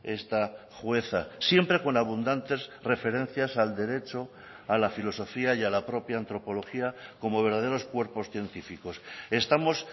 esta jueza siempre con abundantes referencias al derecho a la filosofía y a la propia antropología como verdaderos cuerpos científicos estamos